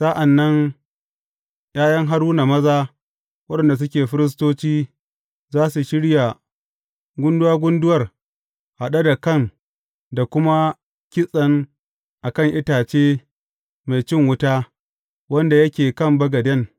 Sa’an nan ’ya’yan Haruna maza waɗanda suke firistoci za su shirya gunduwa gunduwar haɗe da kan da kuma kitsen a kan itace mai cin wuta wanda yake a kan bagaden.